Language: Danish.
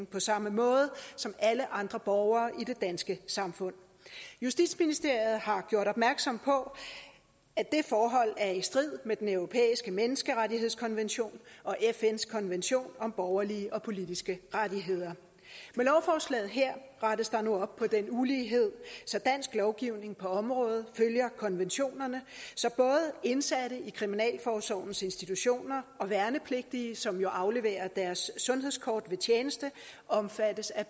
på samme måde som alle andre borgere i det danske samfund justitsministeriet har gjort opmærksom på at det forhold er i strid med den europæiske menneskerettighedskonvention og fns konvention om borgerlige og politiske rettigheder med lovforslaget her rettes der nu op på den ulighed så dansk lovgivning på området følger konventionerne så både indsatte i kriminalforsorgens institutioner og værnepligtige som jo afleverer deres sundhedskort ved tjeneste omfattes af